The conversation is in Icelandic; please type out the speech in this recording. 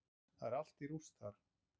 Það er allt í rúst þar.